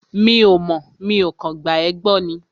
Mi ò mọ̀, mi ò kàn gba ẹ́ gbọ́ ni